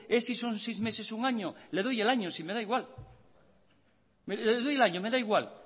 es si son seis meses o un año le doy el año si me da igual le doy el año me da igual